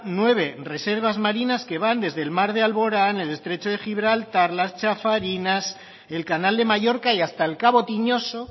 nueve reservas marinas que van desde el mar de alborán el estrecho de gibraltar las chafarinas el canal de mallorca y hasta el cabo tiñoso